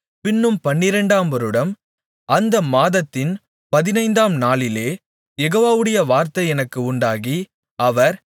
பின்னும் பன்னிரண்டாம் வருடம் அந்த மாதத்தின் பதினைந்தாம் நாளிலே யெகோவாவுடைய வார்த்தை எனக்கு உண்டாகி அவர்